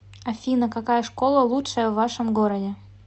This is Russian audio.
афина какая школа лучшая в вашем городе